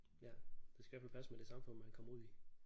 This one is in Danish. Ja det skal i hvert fald passe med det samfund man kommer ud i